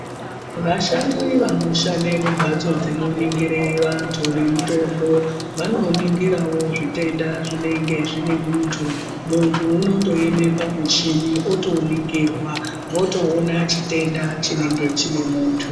Vashandi vanoshande mumbatso dzinoningire vantu nemitombo, vanoningirawo zvitenda zvinenge zvine muntu. Muntu unondoeme pamuchini otoningirwa, votoona chitenda chinenge chine muntu.